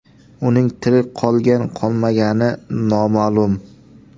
Uning tirik qolgan-qolmagani noma’lum.